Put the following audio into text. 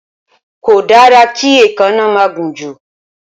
Kò dára kí èékánná máa gùn jù